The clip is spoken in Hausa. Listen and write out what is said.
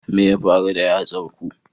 Me ya faru da yatsar ku?